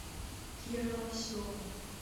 кира лосева